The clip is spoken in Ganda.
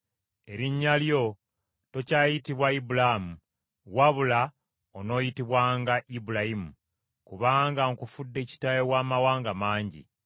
Erinnya lyo tokyayitibwa Ibulaamu, wabula onooyitibwanga Ibulayimu, kubanga nkufudde kitaawe w’amawanga mangi.